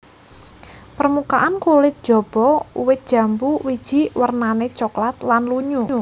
Permukaan kulit jaba wit jambu wiji wernané coklat lan lunyu